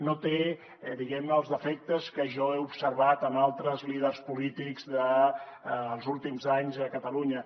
no té diguem ne els defectes que jo he observat en altres líders polítics dels últims anys a catalunya